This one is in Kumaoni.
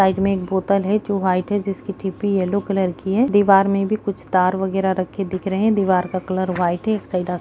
साइड मे एक बोतल है जो वाइट है जिसकी टिपी यलो कलर की है दिवार में भी कुछ तार वग़ैरा रखे दिख रहे है दिवार का कलर वाइट है एक साइड --